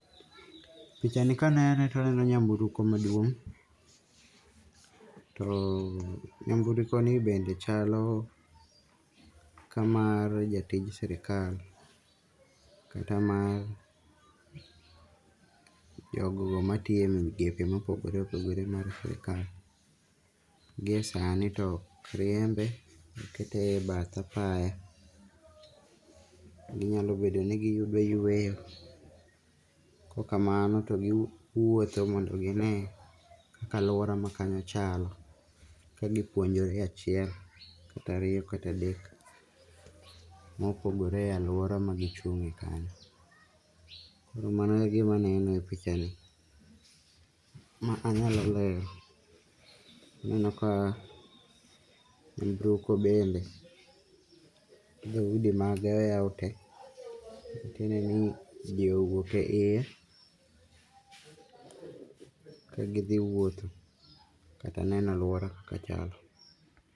Pichani kanene to aneno nyamburko maduong' to nyamburko ni bende chalo kamar jatij sirikal kata mar jogo matiyo e migepe mopogore opogore e sirikal. Gi e sani to ok riembe, okete e bath apaya, ginyalo bedo ni giyudo yweyo kaokk kamano to giwuotho mondo gine kaka alwora makanyo chalo kagipuonjore achiel kata ariyo kata adek mopogore e alwora magichungie kanyo. Mano e gimaneno e pichani manyalo lero. Aneno ka nyamburko bende dhoudi mage oyaw te, matiende ni ji owuok e iye kagidhi wuoth kata neno alwora kaka chalo.